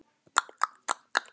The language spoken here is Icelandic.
Og fer að hugsa